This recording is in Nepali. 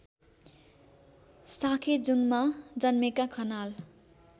साँखेजुङमा जन्मेका खनाल